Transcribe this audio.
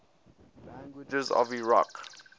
languages of iraq